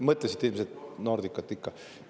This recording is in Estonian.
Mõtlesite ilmselt Nordicat ikka?